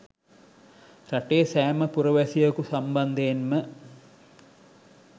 රටේ සෑම පුරවැසියෙකු සම්බන්ධයෙන්ම